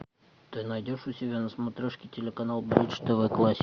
ты найдешь у себя на смотрешке телеканал бридж тв классик